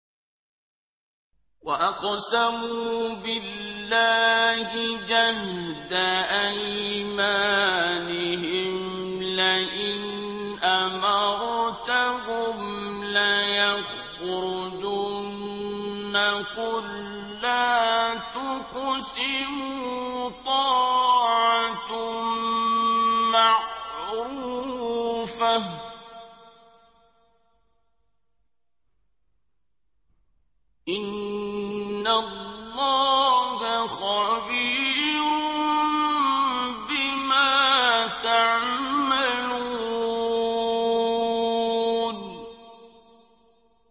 ۞ وَأَقْسَمُوا بِاللَّهِ جَهْدَ أَيْمَانِهِمْ لَئِنْ أَمَرْتَهُمْ لَيَخْرُجُنَّ ۖ قُل لَّا تُقْسِمُوا ۖ طَاعَةٌ مَّعْرُوفَةٌ ۚ إِنَّ اللَّهَ خَبِيرٌ بِمَا تَعْمَلُونَ